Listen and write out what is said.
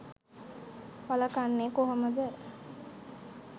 වළකන්නේ කොහොමද?